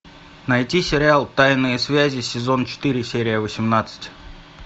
найти сериал тайные связи сезон четыре серия восемнадцать